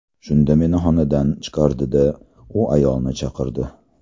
Shunda meni xonadan chiqardi-da, u ayolni chaqirdi.